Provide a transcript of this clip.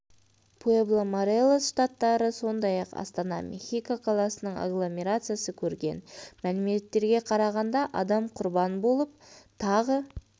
пуэбла морелос штаттары сондай-ақ астана мехико қаласының агломерациясы көрген мәліметтерге қарағанда адам құрбан болып тағы